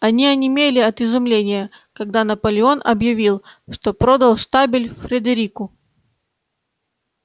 они онемели от изумления когда наполеон объявил что продал штабель фредерику